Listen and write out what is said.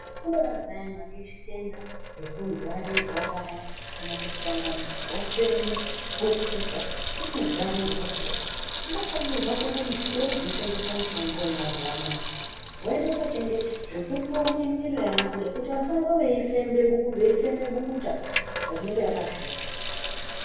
Kune vantu vayani vane zvitenda zvekuzarirwa kana kuti dangani wafemba bukuta unodzarirwa kudai unofanirwa kuenda muzvitoro zvinotengesa mitombo wemuzuwa Anaya woenda kotenga zvekundonye mumwiri wavo kudai kuti vasarambe veifema bukuta rinenge rakasvipa.